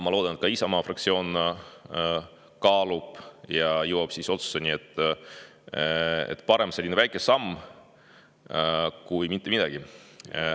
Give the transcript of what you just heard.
Ma loodan, et Isamaa fraktsioon kaalub seda ja jõuab otsusele, et parem selline väike samm kui mitte midagi.